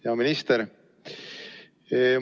Hea minister!